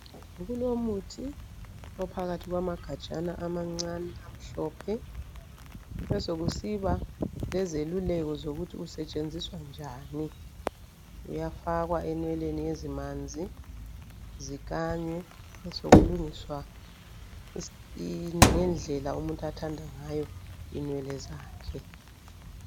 Kulomuthi ophakathi kwamagajana amancane amhlophe besekusiba lezeluleko zokuthi usetshenziswa njani. Uyafakwa enweleni ezimanzi zikanywe. Besekulungiswa ngendlela umuntu athanda ngayo inwele zakhe.